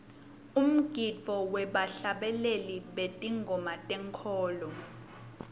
umgidvo webahlabeleli betingoma tenkholo